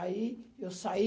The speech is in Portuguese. Aí eu saí